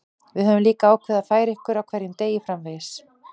Við höfum líka ákveðið að færa ykkur á hverjum degi framvegis.